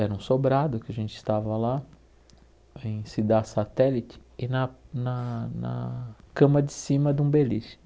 Era um sobrado, que a gente estava lá, em ciudad satélite, e na na na cama de cima era um beliche.